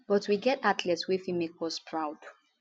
but we get athletes wey fit make us proud